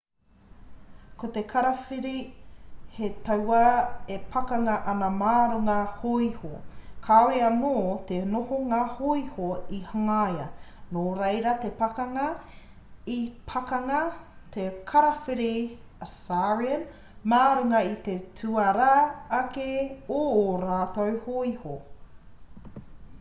ko te karawhiri he tauā e pakanga ana mā runga hōiho kāore anō te nohonga hōiho i hangaia nō reira i pakanga te karawhiri assyrian mā runga i te tuarā ake o ō rātou hōiho